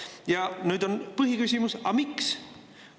Ja nüüd on põhiküsimus: aga miks?